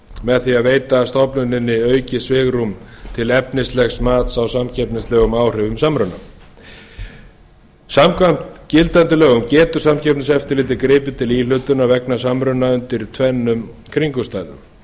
með því að veita stofnuninni aukið svigrúm til efnislegs mats á samkeppnislögum og áhrifum samruna samkvæmt gildandi lögum getur samkeppniseftirlitið gripið til íhlutunar vegna samruna undir tvennum kringumstæðum